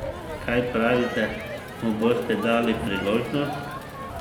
Kaj pravite, mu boste dali priložnost?